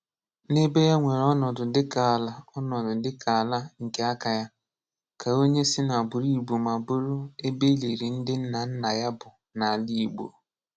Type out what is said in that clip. Ná ebé yá nwerè ọ̀nọdụ̀ dị́kà àlà ọ̀nọdụ̀ dị́kà àlà nké àkà yá, kà onye sì n’àgbụ̀rụ̀ Igbó mà bụ̀rụ̀ ebé e lị̀rị́ ndị̀ nna nná yá bụ̀ n’àlà Igbó.